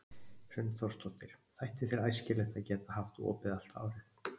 Hrund Þórsdóttir: Þætti þér æskilegt að geta haft opið allt árið?